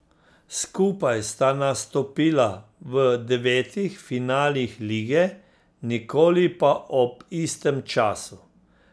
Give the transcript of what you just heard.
Skupaj sta nastopila v devetih finalih lige, nikoli pa ob istem času.